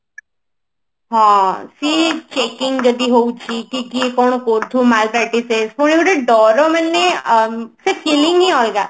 ହଁ ସିଏ checking ଯଦି ହଉଛି କିଏ କିଏ କଣ କରୁଥିବ ଡର ମାନେ ଅ ସେ feeling ହିଁ ଅଲଗା